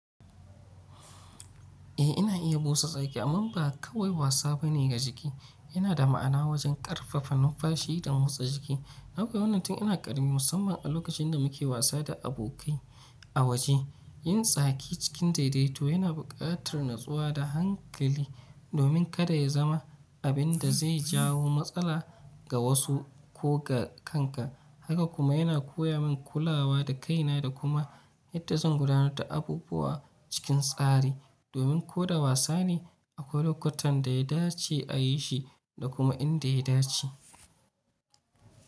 Eh ina iya busa tsaki amma ba kawai wasa bane ga jiki, yana da ma'ana wajen ƙarfafa numfashi da motsa jiki. Ai ko wannan tun ina karami musamman a lokacin da muke wasa da abokai a waje. Yin tsaki cikin daidaito yana buƙatar natsuwa da hankali domin kada ya zama abin da zai jawo matsala ga wasu ko ga kanka. Haka kuma yana koya min kulawa da kaina da kuma yadda zan gudanar da abubuwa cikin tsari domin ko da wasa ne akwai lokutan da ya dace a yi shi da kuma inda ya dace.